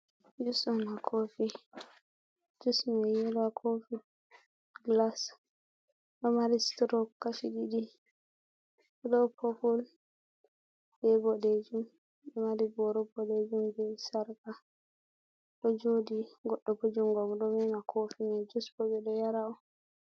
Jus on ha koofi, jus mai yeelo ha koofi gilas ɗo mari suturo kashi ɗiɗi, ɗo poopul be boɗejum ɗo mari boro boɗejum be sarka, ɗo jooɗi goɗɗo bo jungo mum ɗo meema koofi mai, jus bo ɓe ɗo yaara on.